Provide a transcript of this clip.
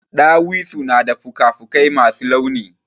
Ɗawisu na da fuka fuƙai masu launi.